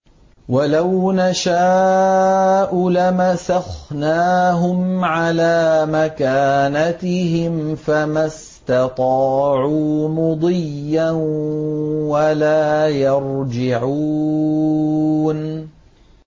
وَلَوْ نَشَاءُ لَمَسَخْنَاهُمْ عَلَىٰ مَكَانَتِهِمْ فَمَا اسْتَطَاعُوا مُضِيًّا وَلَا يَرْجِعُونَ